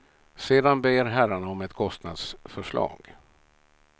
Sedan ber herrarna om ett kostnadsförslag.